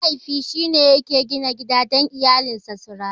Mahaifi shine yake gina gida dan iyalinsa su rayu.